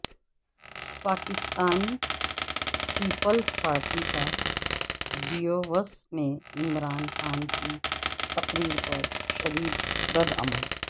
پاکستان پیپلز پارٹی کا ڈیووس میں عمران خان کی تقریر پر شدیدردعمل